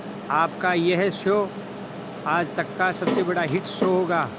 आपका यह शो आज तक का सबसे बड़ा हिट शो होगा